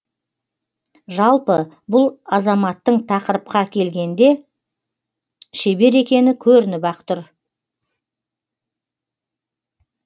жалпы бұл азаматтың тақырыпқа келгенде шебер екені көрініп ақ тұр